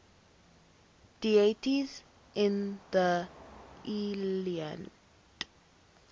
deities in the iliad